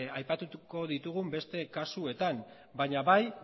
aipatuko ditugun beste kasuetan baina bai